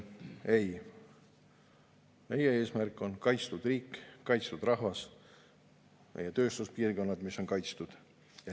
Ei, meie eesmärk on kaitstud riik, kaitstud rahvas, meie tööstuspiirkonnad, mis on kaitstud.